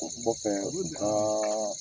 O kɔfɛ u ka